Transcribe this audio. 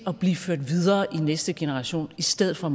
at blive ført videre i næste generation i stedet for